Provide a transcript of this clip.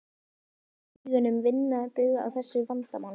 Er það fyrir augum að vinna bug á þessu vandamáli?